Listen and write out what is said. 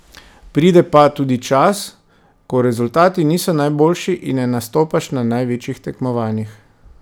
Pride pa tudi čas, ko rezultati niso najboljši in ne nastopaš na največjih tekmovanjih.